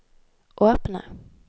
åpne